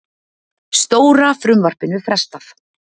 Stóra frumvarpinu frestað